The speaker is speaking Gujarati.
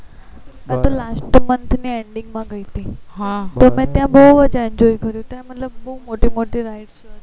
આતો last month ની ending માં ગયી તી તો મેં ત્યાં બહુ જ enjoy કર્યો તો મતલબ બહુ મોટી મોટી ride હતી